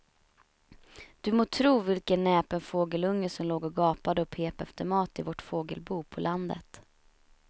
Du må tro vilken näpen fågelunge som låg och gapade och pep efter mat i vårt fågelbo på landet.